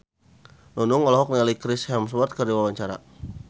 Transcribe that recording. Nunung olohok ningali Chris Hemsworth keur diwawancara